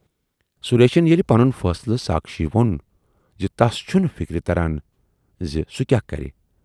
سُریشن ییلہِ پنُن فٲصلہٕ ساکھشی وون زِ"تَس چھُنہٕ فِکرِی تران زِ سُہ کیاہ کرِ۔